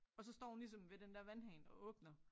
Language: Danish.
Og så står hun ligesom ved den der vandhane og åbner